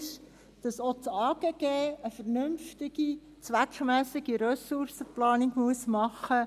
Auch das AGG muss eine vernünftige, zweckmässige Ressourcenplanung machen.